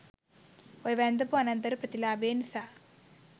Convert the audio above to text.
ඔය 'වැන්දඹු අනත්දරු ප්‍රතිලාභය' නිසා